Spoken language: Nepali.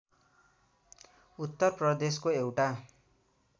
उत्तर प्रदेशको एउटा